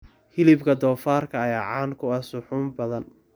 Hilibka doofaarka ayaa caan ku ah suxuun badan.